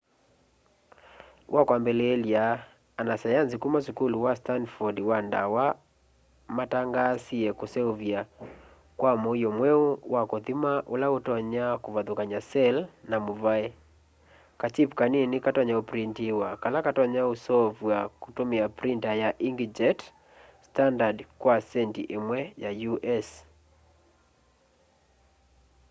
wakwambiliilya anasayanzi kuma sukulu wa stanford wa dawa matangaasie kuseuvya kwa muio mweu wa kuthima ula utonya kuvathukanya cell na muvae : kachip kaini katonya uprinitiwa kala katonya usoovwa kutumia printa ya inkjet standard kwa centi imwe ya u.s